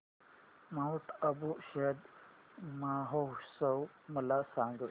Mount Abu शरद महोत्सव मला सांग